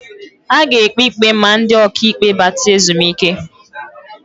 A ga-ekpi ikpe ma ndị ọka ikpe bata ezumike.